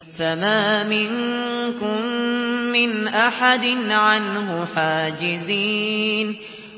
فَمَا مِنكُم مِّنْ أَحَدٍ عَنْهُ حَاجِزِينَ